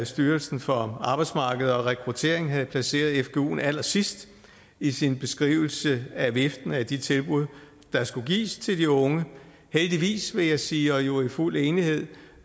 styrelsen for arbejdsmarked og rekruttering havde placeret fguen allersidst i sin beskrivelse af viften af de tilbud der skulle gives til de unge heldigvis vil jeg sige og jo i fuld enighed